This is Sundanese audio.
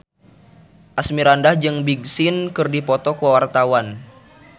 Asmirandah jeung Big Sean keur dipoto ku wartawan